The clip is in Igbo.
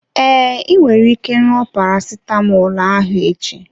Ee, ị nwere ike ṅụọ parasitamọl ahụ echi.